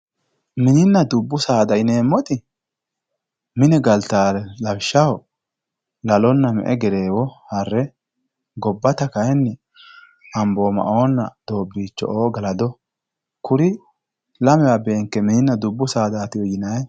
mininna dubbu saada yineemmoti mine galtannore lawishshaho lalonna me'e gereewo harre gobbata kayiinni amboomaoonna doobbiicho galado kuri lamewa beenke mininna dubbu saadaatiwe yinanni.